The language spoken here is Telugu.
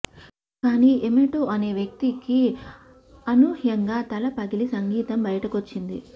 కానీ ఎమేటో అనే వ్యక్తికి అనూహ్యంగా తల పగిలి సంగీతం బయటకొచ్చింది